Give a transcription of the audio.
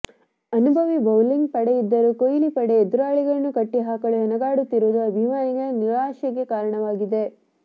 ಅನುಭವಿ ಬೌಲಿಂಗ್ ಪಡೆಯಿದ್ದರೂ ಕೊಹ್ಲಿ ಪಡೆ ಎದುರಾಳಿಗಳನ್ನು ಕಟ್ಟಿ ಹಾಕಲು ಹೆಣಗಾಡುತ್ತಿರುವುದು ಅಭಿಮಾನಿಗಳ ನಿರಾಶೆಗೆ ಕಾರಣವಾಗಿದೆ